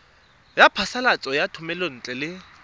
ya phasalatso ya thomelontle le